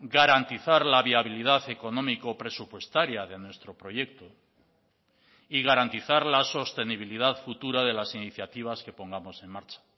garantizar la viabilidad económico presupuestaria de nuestro proyecto y garantizar la sostenibilidad futura de las iniciativas que pongamos en marcha